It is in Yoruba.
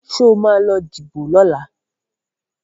Sọ ma lọ díbò lọ́la?